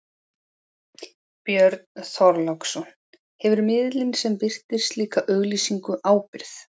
Björn Þorláksson: Hefur miðillinn sem birtir slíka auglýsingu ábyrgð?